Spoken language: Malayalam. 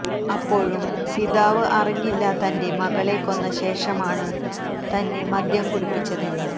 അപ്പോഴും പിതാവ് അറിഞ്ഞില്ല തന്റെ മകളെ കൊന്ന ശേഷമാണ് തന്നെ മദ്യം കുടിപ്പിച്ചതെന്ന്